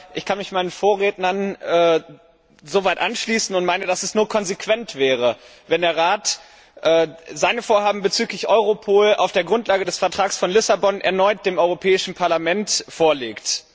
Ich kann mich meinen Vorrednern so weit anschließen und meine, dass es nur konsequent wäre, wenn der Rat seine Vorhaben bezüglich Europol auf der Grundlage des Vertrags von Lissabon erneut dem Europäischen Parlament vorlegt.